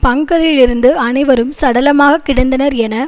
பங்கரில் இருந்து அனைவரும் சடலமாகக் கிடந்தனர் என